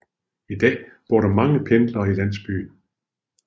I dag bor der mange pendlere i landsbyen